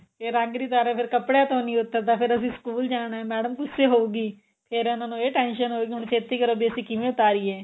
ਫੇਰ ਰੰਗ ਨਹੀਂ ਉਤਾਰੀਆਂ ਕਪੜਿਆਂ ਤੋਂ ਨਹੀਂ ਉਤਰਦਾ ਫੇਰ ਅਸੀਂ ਸਕੂਲ ਜਾਣਾ madam ਗੁੱਸੇ ਹੋਊਗੀ ਫੇਰ ਉਹਨਾ ਨੂੰ ਇਹ tension ਹੋਏਗੀ ਹੁਣ ਛੇਤੀ ਕਰੋ ਵੀ ਅਸੀਂ ਕਿਵੇਂ ਉਤਾਰੀਏ